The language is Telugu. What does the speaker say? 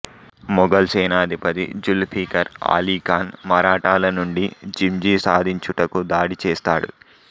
ముఘల్ సేనాధిపతి జుల్ఫికర్ ఆలి ఖాన్ మరాఠాల నుండి జింజి సాధించుటకు దాడి చేస్తాడు